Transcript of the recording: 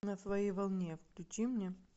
на своей волне включи мне